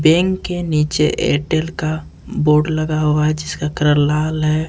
Bank के नीचे Airtel का बोर्ड लगा हुआ है जिसका कलर लाल है।